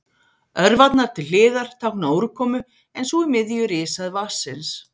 Örvarnar til hliðar tákna úrkomu en sú í miðju rishæð vatnsins.